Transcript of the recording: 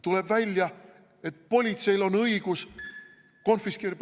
Tuleb välja, et politseil on õigus konfiskeerida ...